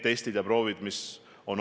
Kas me oleme seda arutanud?